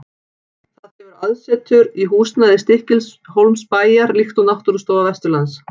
Það hefur aðsetur í húsnæði Stykkishólmsbæjar, líkt og Náttúrustofa Vesturlands.